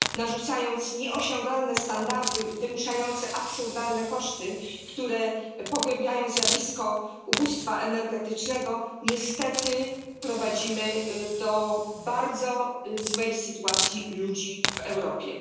Narzucając nieosiągalne standardy wymuszające absurdalne koszty, które pogłębiają zjawisko ubóstwa energetycznego, niestety prowadzimy do bardzo złej sytuacji ludzi w Europie.